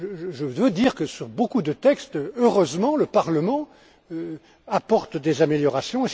Je veux dire que, sur beaucoup de textes, heureusement, le Parlement apporte des améliorations.